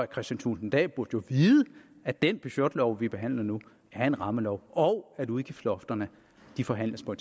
kristian thulesen dahl burde jo vide at den budgetlov vi behandler nu er en rammelov og at udgiftslofterne forhandles på